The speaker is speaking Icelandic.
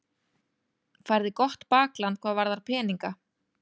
Míranda, hvað er á áætluninni minni í dag?